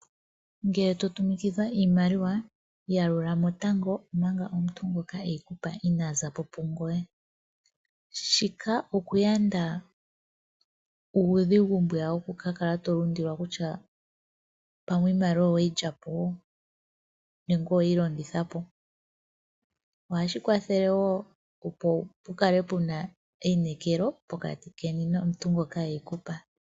Ngele totumikidha iimaliwa, yalulamo tango omanga omuntu ngoka eli eyi kupa inaa za po pungoye. Shika okuyanda uudhigu mbwiya wokukakala tolundilwa kutya pamwe iimaliwa oweyi lyapo nenge oweyi longitha po. Ohashi kwathele wo opo pukale puna einekelo pokati keni nomuntu ngoka eyi kupa.